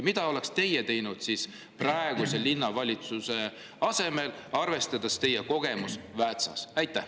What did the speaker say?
Mida teie oleksite teinud praeguse linnavalitsuse asemel, arvestades teie kogemust Väätsas?